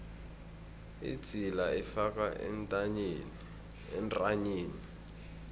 idzila ifakwa entanyeni